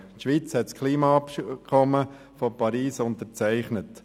Die Schweiz hat das Klimaabkommen von Paris unterzeichnet.